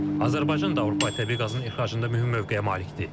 Azərbaycan da Avropaya təbii qazın ixracında mühüm mövqeyə malikdir.